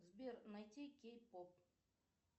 сбер найди кей поп